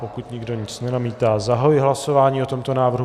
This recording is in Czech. Pokud nikdo nic nenamítá, zahajuji hlasování o tomto návrhu.